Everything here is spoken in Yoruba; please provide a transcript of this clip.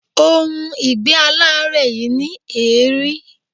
Ohun ìgbé-aláárẹ̀ yìí ní èérí.